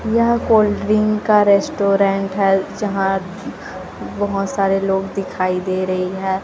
यह cold drink का restaurant है जहां बहोत सारे लोग दिखाई दे रही है।